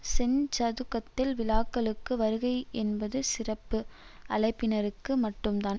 செஞ்சதுக்கத்தில் விழாக்களுக்கு வருகை என்பது சிறப்பு அழைப்பினருக்கு மட்டுந்தான்